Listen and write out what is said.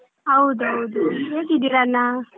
ಹೌದ್ ಹೌದ್ ಹೇಗಿದ್ದೀರಾ ಅಣ್ಣ.